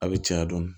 A bɛ caya dɔɔnin